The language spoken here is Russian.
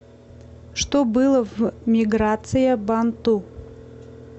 что было в миграция банту